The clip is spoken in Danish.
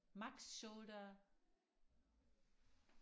max shoulder